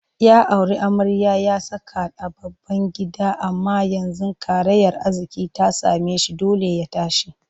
Ya auri amarya ya saka ta a babban gida amma yanzu karayar arziƙi ta same shi dole ya tashi